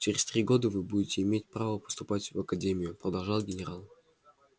через три года вы будете иметь право поступать в академию продолжал генерал